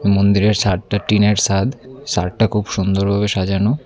মন্দিরের সাদটা টিনের সাদ সাদটা খুব সুন্দর ভাবে সাজানো।